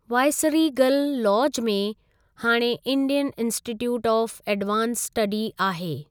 Viceregal lodge में हाणे Indian institute of advanced study आहे।